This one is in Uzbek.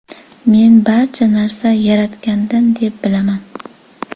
Men barcha narsa Yaratgandan deb bilaman.